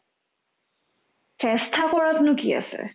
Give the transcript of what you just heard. চেষ্টা কৰাতনো কি আছে ?